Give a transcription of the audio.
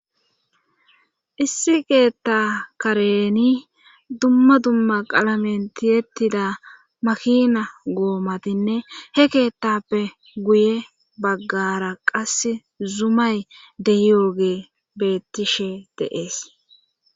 issi keetta kareni dumma dumma qalamentiyettida makina goomatinne he keettappe guye baggara qas zumay deyooge bettishe deees